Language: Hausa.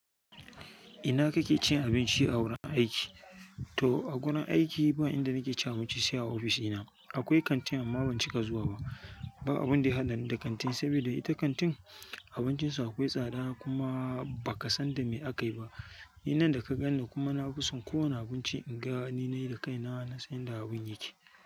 Ina kake cin abinci a wurin aiki? To a wurin aiki, ba inda nake cin abinci sai a ofishina. Akwai kantin amma ban cika zuwa ba. Ba abin da ya haɗani da kantin, saboda ita kantin abincinsu akwai tsada kuma ba ka san dame akayi ba. Ni nan da ka ganni kuma nafison kowane abinci in ga ni nayi da kaina na san inda abin yake.